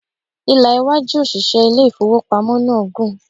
Ìlà iwájú òṣìṣẹ́ ilé ìfowópamọ́ náà gùn.